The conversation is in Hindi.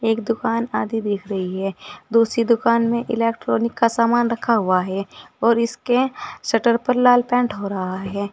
एक दुकान आधी दिख रही है दूसरी दुकान में इलेक्ट्रॉनिक का सामान रक्खा हुआ है और इसके शटर पर लाल पेंट हो रहा है।